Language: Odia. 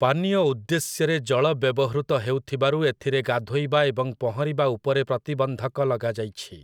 ପାନୀୟ ଉଦ୍ଦେଶ୍ୟରେ ଜଳ ବ୍ୟବହୃତ ହେଉଥିବାରୁ ଏଥିରେ ଗାଧୋଇବା ଏବଂ ପହଁରିବା ଉପରେ ପ୍ରତିବନ୍ଧକ ଲଗାଯାଇଛି ।